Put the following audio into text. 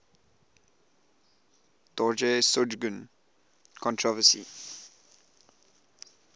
dorje shugden controversy